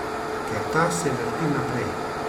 Ker ta se vrti naprej.